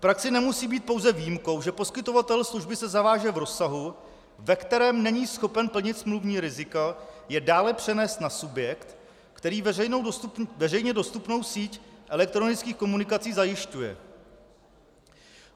V praxi nemusí být pouze výjimkou, že poskytovatel služby se zaváže v rozsahu, ve kterém není schopen plnit smluvní rizika, je dále přenést na subjekt, který veřejně dostupnou síť elektronických komunikací zajišťuje.